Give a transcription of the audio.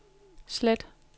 slet